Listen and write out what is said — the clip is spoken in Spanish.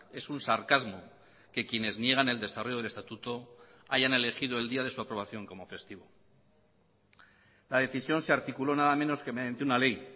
es un sarcasmo que quienes niegan el desarrollo del estatuto hayan elegido el día de su aprobación como festivo la decisión se articuló nada menos que mediante una ley